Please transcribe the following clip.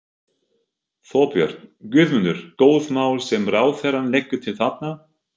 Þorbjörn: Guðmundur, góð mál sem ráðherrann leggur til þarna?